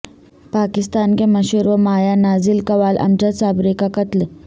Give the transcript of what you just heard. پاکستان کے مشہور و مایہ ناز قوال امجد صابری کا قتل